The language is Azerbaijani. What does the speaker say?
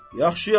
Yaxşı, yaxşı.